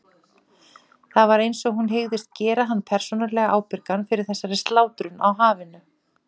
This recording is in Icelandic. Það var einsog hún hygðist gera hann persónulega ábyrgan fyrir þessari slátrun á hafinu.